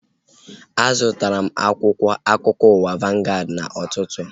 A zụtara m akwụkwọ akụkọ ụwa vangaad n'ụtụtụ a